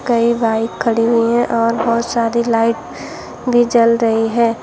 कई बाइक खड़ी हुई है और बहुत सारी लाइट भी जल रही है।